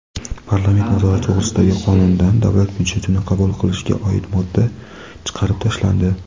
"Parlament nazorati to‘g‘risida"gi Qonundan Davlat byudjetini qabul qilishga oid modda chiqarib tashlandi.